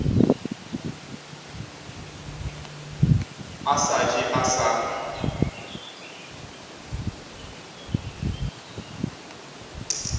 a sa je a sa